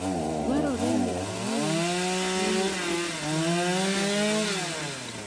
Dwarore ni ong'e ni nitie gik mang'eny madwarore ni orit.